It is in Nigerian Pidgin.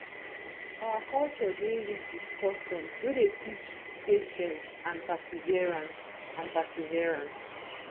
our culture dey rich with customs wey dey teach patience and perseverance and perseverance